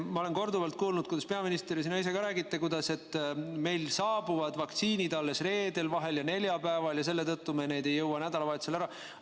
Ma olen korduvalt kuulnud, kuidas peaminister ja sina räägid, et meile saabuvad vaktsiinid alles reedel ja vahel neljapäeval ja selle tõttu me neid ei jõua nädalavahetusel ära kasutada.